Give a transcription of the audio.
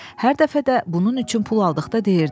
Hər dəfə də bunun üçün pul aldıqda deyirdi: